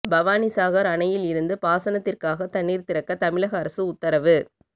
பவானிசாகர் அணையில் இருந்து பாசனத்திற்காக தண்ணீர் திறக்க தமிழக அரசு உத்தரவு